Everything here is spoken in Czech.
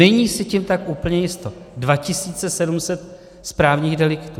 Není si tím tak úplně jisto. 2 700 správních deliktů.